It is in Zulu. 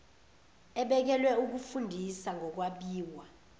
ebekelwe ukufundisa ngokwabiwa